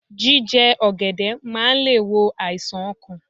Jíje ọ̀gẹ̀dẹ̀ máa le è wo àìsàn okàn